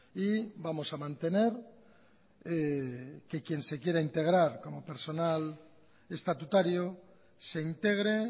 y vamos a mantener que quien se quiera integrar como personal estatutario se integre